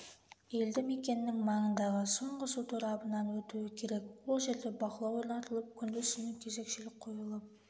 елді мекенінің маңындағы соңғы су торабынанан өтуі керек ол жерде бақылау орнатылып күндіз-түні кезекшілік қойылып